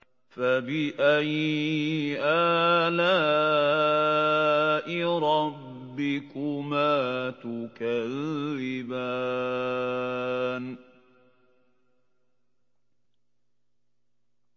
فَبِأَيِّ آلَاءِ رَبِّكُمَا تُكَذِّبَانِ